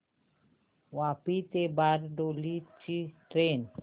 वापी ते बारडोली ची ट्रेन